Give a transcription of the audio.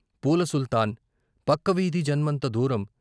పూల సుల్తాన్, పక్కవీధి జన్మంత దూరం